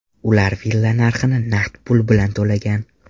Ular villa narxini naqd pul bilan to‘lagan.